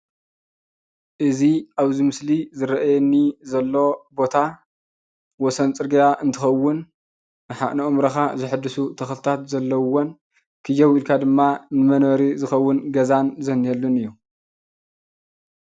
እዚ ኣበዚ ምስሊ ዝርኣየኒ ዘሎ ቦታ ወሰን ፅርግያ እንትኸዉን ንኣእምሮኻ ዘሐድሱን ተኽልታት ዘለዉዎን ክየው ኢልካ ድማ ንመንበሪ ዝኸዉን ገዛን ዝንሄሉን እዩ።